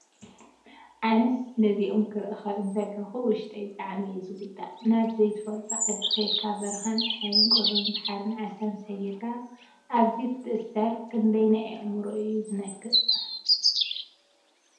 ኣነስ ነዚኦም ክሪኢ እንተለኹ ውሽጠይ ብጣዕሚ እዩ ዝጉዳእ! ናብ ዘይትፈልጦ ዓዲ ከድካ በረካን ፀሓይን ቁሪን ባሕሪን ዓሳን ሰጊርካ ኣብዙይ ክትእሰር ክንደይ ናይ ኣእምሮካ እዩ ዝነኽእ።